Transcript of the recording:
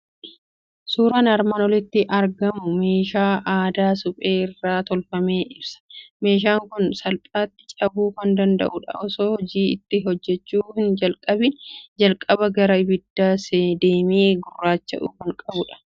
Suuraan armaan olitti argamu suuraa meeshaa aadaa suphee irraa tolfame ibsa. Meeshaan kun salphaatti cabuu kan danda'udha. Osoo hojii itti hojjechuu hin jalqabiin jalqaba gara ibiddaa deemee gurraacha'uu kan qabudha.